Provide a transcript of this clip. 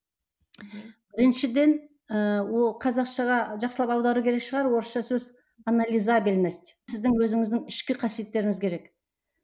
біріншіден ііі ол қазақшаға жақсылап аудару керек шығар орысша сөз анализабельность сіздің өзіңіздің ішкі қасиеттеріңіз қерек